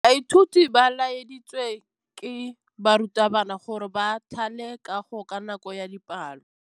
Baithuti ba laeditswe ke morutabana gore ba thale kagô ka nako ya dipalô.